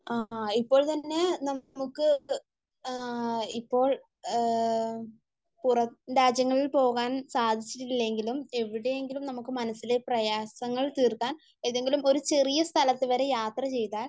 ആഹ് ആ ഇപ്പോൾ തന്നെ നമുക്ക്, ഇപ്പോൾ പുറം രാജ്യങ്ങളിൽ പോകാൻ സാധിച്ചിട്ടില്ലെങ്കിലും എവിടെയെങ്കിലും നമുക്ക് മനസ്സിലെ പ്രയാസങ്ങൾ തീർക്കാൻ, ഏതെങ്കിലും ഒരു ചെറിയ സ്ഥലത്ത് വരെ യാത്ര ചെയ്താൽ